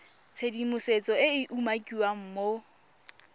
tshedimosetso e e umakiwang mo